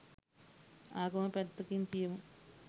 ආගම පැත්තකින් තියමු